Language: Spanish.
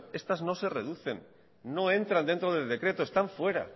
titulaciones estas no se reducen no entran dentro del decreto están fuera